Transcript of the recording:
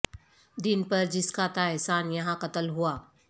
دین پر جس کا تھا احسان یہاں قتل ہوا